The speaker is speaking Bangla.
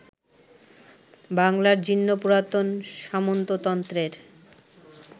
বাংলার জীর্ণ পুরাতন সামন্ততন্ত্রের